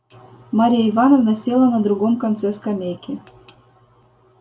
марья ивановна села на другом конце скамейки